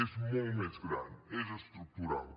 és molt més gran és estructural